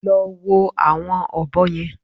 Lọ wo àwọn ọ̀bọ yẹn!